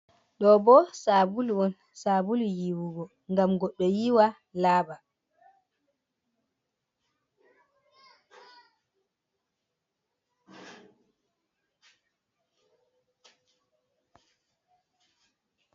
Ɗo bo sabulu on, sabulu yiwugo ngam goɗɗo yiwa laaɓa.